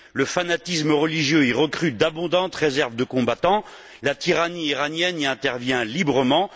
Le fanatisme religieux y recrute d'abondantes réserves de combattants. La tyrannie iranienne y intervient librement.